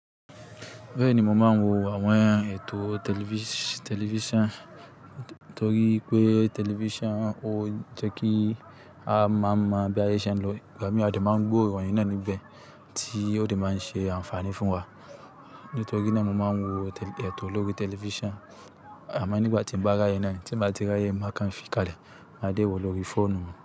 Bẹ́ẹ̀ ni mo máa ń wo àwọn ètò tẹlifíṣàn, torí pé tẹlifíṣàn ó ń jẹ́ kí a máa mọ̀ bí ayé ṣe ń lọ. Gbámi a dé máa ń gbọ́ ìròyìn nà níbẹ́ẹ̀ tí ó dé máa ń ṣe àǹfààní fún wa. Nítorí náà mo máa ń wo ètò lórí tẹlifíṣàn. A máa ní nígbà tí mo bá ráyè náà tí ń bá ti ráyè máa kan fìkálẹ̀ máa dé wò lórí fóònù.